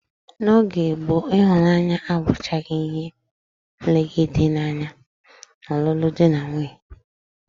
N'oge gboo, ịhụnanya abụchaghị ihe nlegide anya n'ọlụlụ dị na nwaanyị